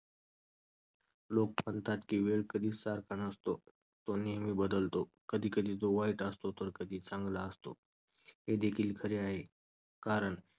लोक म्हणतात की वेळ कधीच सारखा नसतो तो नेहमी बदलतो. कधीकधी तो वाईट असतो तर कधी चांगला असतो. हे देखील खरे आहे कारण